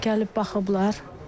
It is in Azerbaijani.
Gəlib baxıblar.